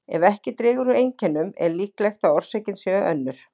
Ef ekki dregur úr einkennum er líklegt að orsökin sé önnur.